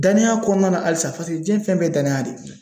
Danaya kɔnɔna na halisa diɲɛ fɛn bɛɛ danaya de ye